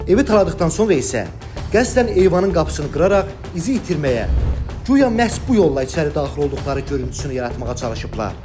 Evi taladıqdan sonra isə qəsdən eyvanın qapısını qıraraq izi itirməyə, güya məhz bu yolla içəri daxil olduqları görüntüsünü yaratmağa çalışıblar.